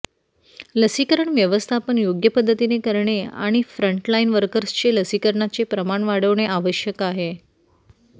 लसीकरण व्यवस्थापन योग्य पद्धतीने करणे आणि फ्रंटलाइन वर्कर्सचे लसीकरणाचे प्रमाण वाढवणे आवश्यक आहे